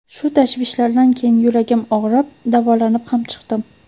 Shu tashvishlardan keyin yuragim og‘rib, davolanib ham chiqdim.